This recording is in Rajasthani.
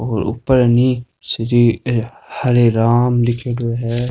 और ऊपर है नि श्री हरे राम लिखेड़ो है।